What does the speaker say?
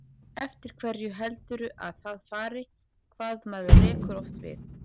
Eftir hverju heldurðu að það fari, hvað maður rekur oft við?